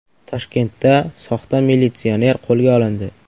Toshkentda soxta militsioner qo‘lga olindi.